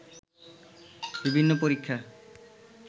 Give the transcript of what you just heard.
বিভিন্ন পরীক্ষা